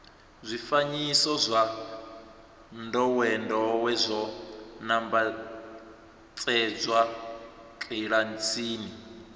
zwifanyiso zwa ndowendowe zwo nambatsedzwa kilasini